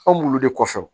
Anw bulu de kɔfɛ